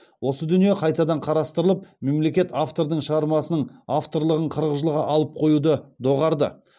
осы дүние қайтадан қарастырылып мемлекет автордың шығармасының авторлығын қырық жылға алып қоюды доғарды